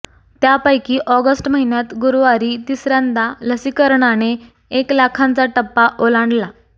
त्यापैकी ऑगस्ट महिन्यात गुरुवारी तिसऱ्यांदा लसीकरणाने एक लाखांचा टप्पा ओलांडला